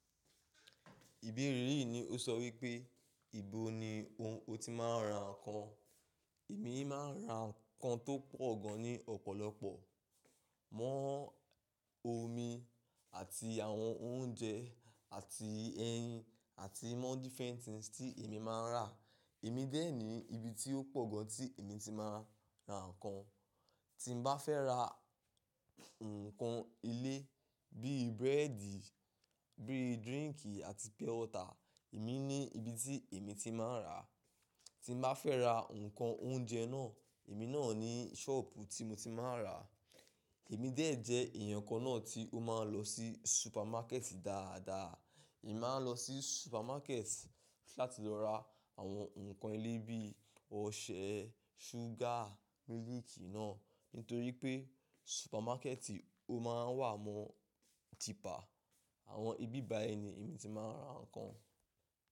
Ìbéèrè yìí ní ó sọ wípé, ìbò ni ó ti máa ń ra ǹkan? Èmi máa ń ra ǹkan tó pọ̀ gan ní ọ̀pọ̀lọpọ̀. Mọ́ omi àti àwọn oúnjẹ àti ẹyin àti mọ́ different things tí èmi máa ń rà. Èmi dé ní ibi tí ó pọ̀ gan tí èmi ti máa ń ra ǹkan. Tí mo bá fẹ́ ra ǹkan ilé bíi búrẹ́dì, bíi dírínkì àti purewater, èmi ní ibi tí èmi ti máa ń rà. Tí mo bá fẹ́ ra ǹkan oúnjẹ náà, èmi náà ní ṣọ́ọ̀bù tí mo ti máa ń rà. Èmi dé jẹ èèyàn kan náà tí ó máa ń lọ sí supermarket dáadáa. Èmi máa ń lọ sí supermarket láti lọ ra àwọn ǹkan ilé bíi ọṣẹ, ṣúgà, mílìkì náà. Nítorí pé supermarket ó máa ń wà mọ́ cheaper Àwọn ibi báyi ni èmi ti máa ń ra ǹkan.